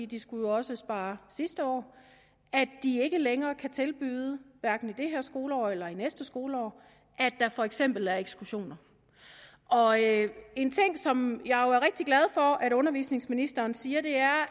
de skulle jo også spare sidste år at de ikke længere kan tilbyde hverken i det her skoleår eller i næste skoleår at der for eksempel er ekskursioner en ting som jeg jo er rigtig glad for at undervisningsministeren siger er